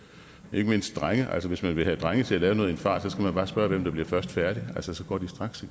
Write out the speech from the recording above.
ikke mindst drenge altså hvis man vil have drenge til at lave noget i en fart skal man bare spørge hvem der bliver først færdig altså så går de straks